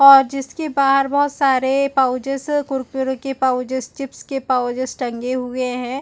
और जिसकी बहार बहुत सारे पॉउचेस है कुरकुरे के पॉउचेस चिप्स के पॉउचेस टंगे हुए है।